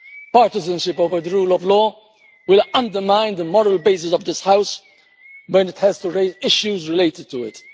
Partisanship over the rule of law will undermine the moral basis of this House, when it has to raise issues related to it.